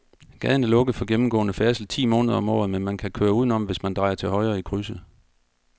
Gaden er lukket for gennemgående færdsel ti måneder om året, men man kan køre udenom, hvis man drejer til højre i krydset.